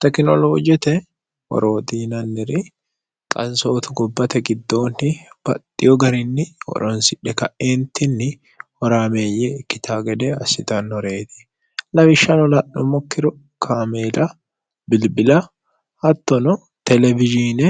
tekinoloojote horooxiinanniri qansootu gobbate giddoonni baxxiyo garinni oronsidhe ka'eentinni horaameeyye ikkita gede assitannoreeti lawishshano la'nummokkiro kaameela bilbila hattono telewijiine